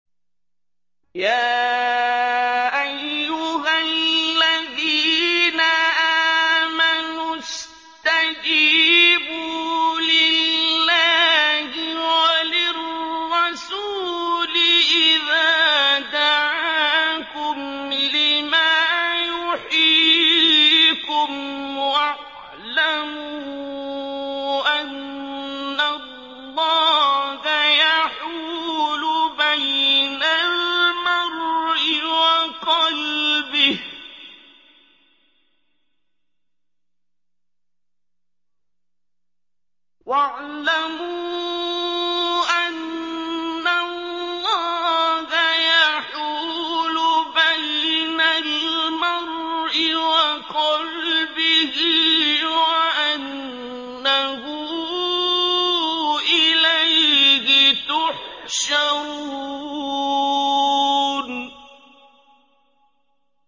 يَا أَيُّهَا الَّذِينَ آمَنُوا اسْتَجِيبُوا لِلَّهِ وَلِلرَّسُولِ إِذَا دَعَاكُمْ لِمَا يُحْيِيكُمْ ۖ وَاعْلَمُوا أَنَّ اللَّهَ يَحُولُ بَيْنَ الْمَرْءِ وَقَلْبِهِ وَأَنَّهُ إِلَيْهِ تُحْشَرُونَ